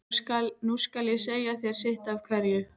Nú skal ég segja þér sitt af hverju.